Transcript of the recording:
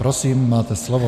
Prosím, máte slovo.